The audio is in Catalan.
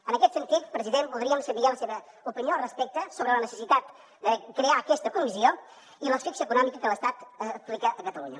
en aquest sentit president voldríem saber la seva opinió sobre la necessitat de crear aquesta comissió i l’asfíxia econòmica que l’estat aplica a catalunya